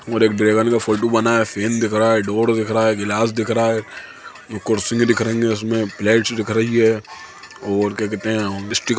और एक बेलन का फोटो बना हुआ है फैन दिख रहा है डोर दिख रहा है गिलास दिख रहा है दो कुर्सिये दिख रही ऊसमें प्लेट्स दिख रहे है और क्या दिख रहा है जहाँ स्टीकर --